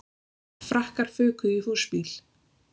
Frakkar fuku í húsbíl